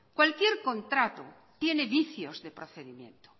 cualquier contrato tiene vicios de procedimiento